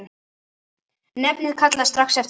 Nefndin kallaði strax eftir gögnum.